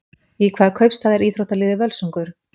Í hvaða kaupstað er íþróttaliðið Völsungur?